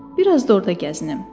Bir az da orda gəzinim.